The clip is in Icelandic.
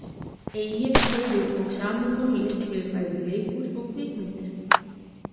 Egill hefur og samið tónlist fyrir bæði leikhús og kvikmyndir.